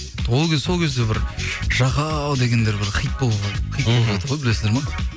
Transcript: сол кезде бір жахау дегендер бір хит болды ғой білесіңдер ма